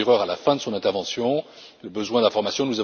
Theurer à la fin de son intervention le besoin d'informations.